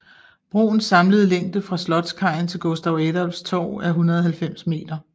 Broens samlede længde fra Slottskajen til Gustav Adolfs Torg er 190 meter